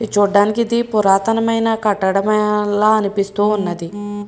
ఇది చుడానికి ఇది పురాతనమైన కట్టడం ల అనిపిస్తుఉన్నది.